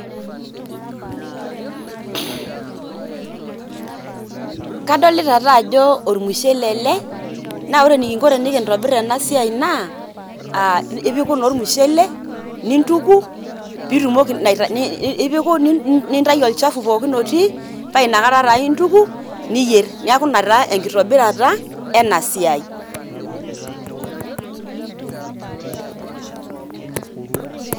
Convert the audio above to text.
kadolta taa joo olmushele ele nawore enikinko enikintobirr ena siai naa ipiku naa olmushele nintuku ipiku nintayu olchafu pookin otii oa inakata taa intuku niyierr neaku naa enkitobirata enasiai